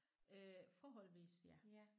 Øh forholdsvis ja